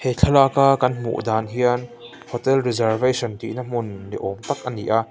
he thlalak a kan hmu dan hian hotel reservation tihna hmun ni awm tak a ni a.